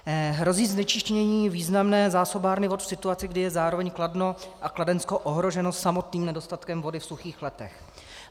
Hrozí znečištění významné zásobárny vod v situaci, kdy je zároveň Kladno a Kladensko ohroženo samotným nedostatkem vody v suchých letech.